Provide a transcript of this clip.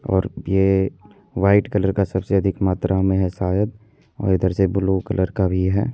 और ये white colour का सबसे अधिक मात्रा में है शायद और इधर से ब्लू कलर का भी है।